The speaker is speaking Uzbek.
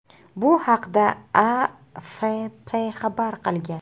Bu haqda AFP xabar qilgan .